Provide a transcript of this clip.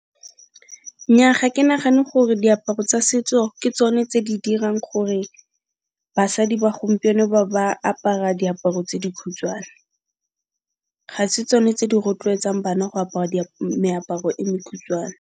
Nnyaa ga ke nagane gore diaparo tsa setso ke tsone tse di dirang gore basadi ba gompieno ba apara diaparo tse dikhutshwane. Ga se tsone tse di rotloetsang bana go apara meaparo e mekhutshwane.